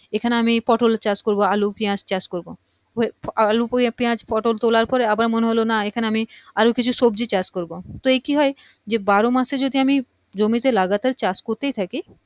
এখানে আমি পটল চাষ করবো আলু পিঁয়াজ চাষ করবো আলু হয়ে পিঁয়াজ পটোল তোলার পরে আবার মনে হলো না এখানে আমি আরো কিছু সবজি চাষ করবো তো এ কি হয় যে বারো মাস এ যদি আমি জমিতে লাগাতার চাষ করতেই থাকি